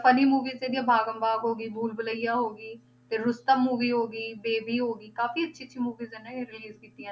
Funny movies ਜਿਹੜੀ ਆਹ ਬਾਗਮ ਬਾਗ ਹੋ ਗਈ, ਭੂਲ ਬੁਲੱਈਆ ਹੋ ਗਈ, ਫਿਰ ਰੁਸਤਮ movie ਹੋ ਗਈ, ਬੇਬੀ ਹੋ ਗਈ, ਕਾਫ਼ੀ ਅੱਛੀ ਅੱਛੀ movies ਹੈ ਨਾ ਇਹ release ਕੀਤੀਆਂ